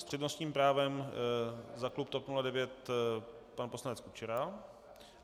S přednostním právem za klub TOP 09 pan poslanec Kučera.